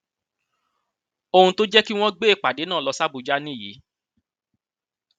ohun tó jẹ kí wọn gbé ìpàdé náà lọ sí àbújá nìyí